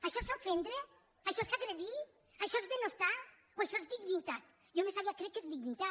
això és ofendre això és agredir això és denostar o això és dignitat jo més aviat crec que és dignitat